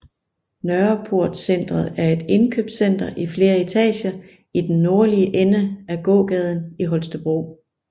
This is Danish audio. Nørreportcentret er et indkøbscenter i flere etager i den nordlige ende af gågaden i Holstebro